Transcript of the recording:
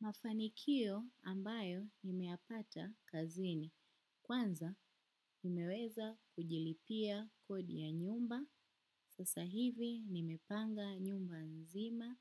Mafanikio ambayo nimeyapata kazini. Kwanza nimeweza kujilipia kodi ya nyumba. Sasa hivi nimepanga nyumba nzima